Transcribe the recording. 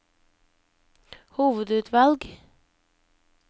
hovedutvalg